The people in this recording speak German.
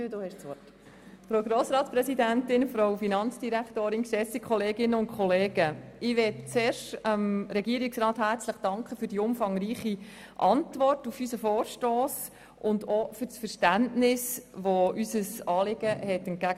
Zuerst danke ich dem Regierungsrat für die umfangreiche Antwort auf unseren Vorstoss und für sein Verständnis für unser Anliegen.